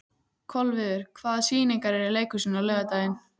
Kolviður, hvaða sýningar eru í leikhúsinu á laugardaginn?